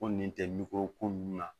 Ko nin tɛ miko ko nunnu na